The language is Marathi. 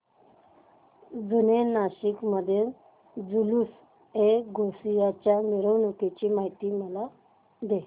जुने नाशिक मधील जुलूसएगौसिया च्या मिरवणूकीची मला माहिती दे